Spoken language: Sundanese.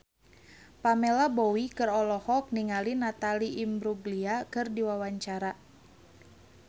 Pamela Bowie olohok ningali Natalie Imbruglia keur diwawancara